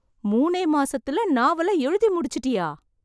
மூணே மாசத்துல நாவல எழுதி முடிச்சிட்டியா...